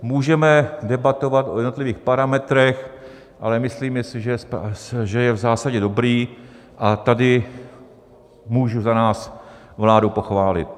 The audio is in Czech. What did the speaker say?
Můžeme debatovat o jednotlivých parametrech, ale myslíme si, že je v zásadě dobrý, a tady můžu za nás vládu pochválit.